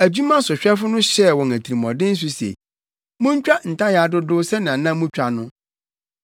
Adwumasohwɛfo no hyɛɛ wɔn atirimɔden so se, “Muntwa ntayaa dodow sɛnea na mutwa no.”